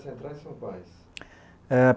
centrais são quais? Eh